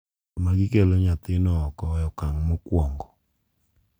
kama gikelo nyathino oko e okang’ mokwongo.